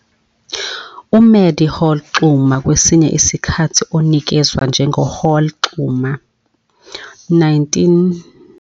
UMadie Hall Xuma, kwesinye isikhathi onikezwa njengoHall-Xuma, 1894-1982, wayeyisishoshovu saseMelika eNingizimu Afrika.